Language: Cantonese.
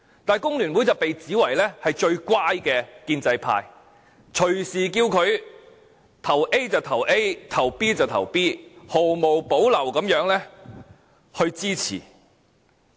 但工聯會據說是最乖的建制派，隨時叫它將選票投給 A 就投給 A、投給 B 就投給 B， 毫無保留地支持政府。